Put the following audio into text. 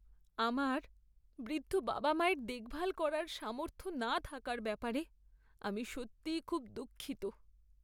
আমার বৃদ্ধ বাবা মায়ের দেখভাল করার সামর্থ্য না থাকার ব্যাপারে আমি সত্যিই খুব দুঃখিত।